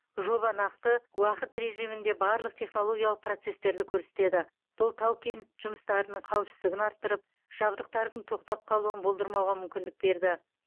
жоба нақты уақыт режимінде барлық технологиялық процестерді көрсетеді бұл тау кен жұмыстарының қауіпсіздігін арттырып жабдықтардың тоқтап қалуын болдырмауға мүмкіндік берді